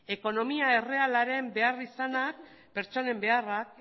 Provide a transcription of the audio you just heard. ekonomia errealaren behar izanak pertsonen beharra